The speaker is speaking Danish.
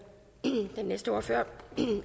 den næste ordfører